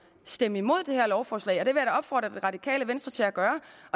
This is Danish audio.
stemme imod dette lovforslag det vil jeg da opfordre det radikale venstre til at gøre